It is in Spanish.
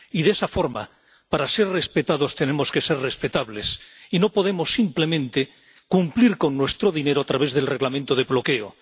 Y de esa forma, para ser respetados, tenemos que ser respetables y no podemos simplemente cumplir con nuestro dinero a través del Reglamento de bloqueo.